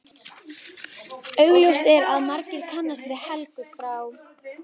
Augljóst er að margir kannast við Helgu frá